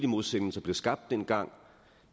modsætning som blev skabt dengang